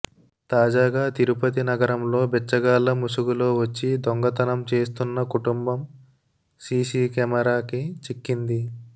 తాజాగా తిరుపతి నగరంలో బిచ్చగాళ్ల ముసుగులో వచ్చి దొంగతం చేస్తున్న కుటుంబం సీసీ కెమరాకి చిక్కింది